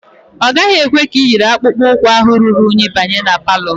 Ọ gaghị ekwe ka iyiri akpụkpọ ụkwụ ahụ ruru unyi banye ma palọ